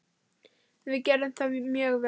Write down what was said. Við gerðum það mjög vel.